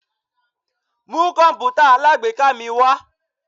Mu kọǹpútà alágbèéká mi wá!